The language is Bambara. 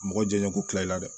Mɔgɔ jɛɲɔgɔn ko kilala dɛ